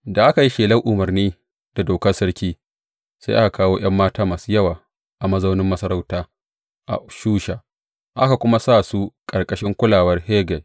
Da aka yi shelar umarni da dokar sarki, sai aka kawo ’yan mata masu yawa a mazaunin masarauta a Shusha, aka kuma sa su ƙarƙashin kulawar Hegai.